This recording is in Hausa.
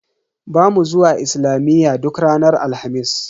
Bamu zuwa islamiyya duk ranar Alhamis.